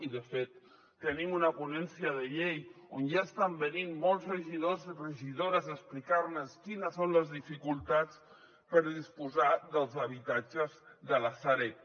i de fet tenim una ponència de llei on ja estan venint molts regidors i regidores a explicar nos quines són les dificultats per disposar dels habitatges de la sareb